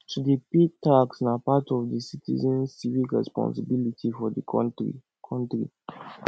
to dey pay tax na part of di citizens civic responsibility for di country country